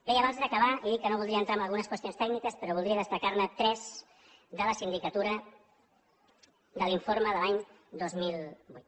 bé i abans d’acabar he dit que no voldria entrar en algunes qüestions tècniques però voldria destacar ne tres de la sindicatura de l’informe de l’any dos mil vuit